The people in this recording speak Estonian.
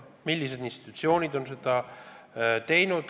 Millised institutsioonid on seda teinud?